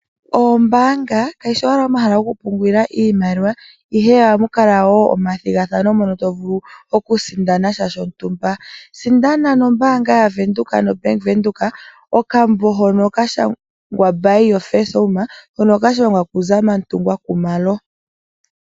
Oombanga kadhi shi owala omahala gokupungulila iimaliwa, ihe ohamu kala wo omathigathano mono no vulu okusindana sha shontumba. Sindana nombaanga yaVenduka ano Bank Windhoek, okambo hono ka shangwa "Buy your first home" hono ka shangwa ku Zamantungwa Khumalo.